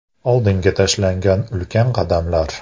Oldinga tashlangan ulkan qadamlar.